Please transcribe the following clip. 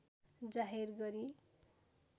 जाहेर गरी